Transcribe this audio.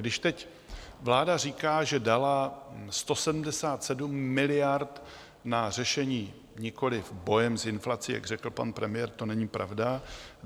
Když teď vláda říká, že dala 177 miliard na řešení - nikoliv boje s inflací, jak řekl pan premiér, to není pravda.